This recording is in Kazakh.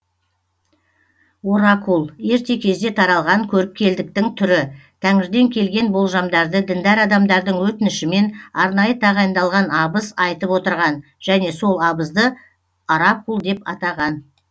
оракул ерте кезде таралған көріпкелдіктің түрі тәңірден келген болжамдарды діндар адамдардың өтінішімен арнайы тағайындалған абыз айтып отырған және сол абызды оракул деп атаған